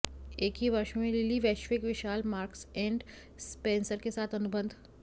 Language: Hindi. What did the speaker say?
एक ही वर्ष में लिली वैश्विक विशाल मार्क्स एंड स्पेंसर के साथ अनुबंध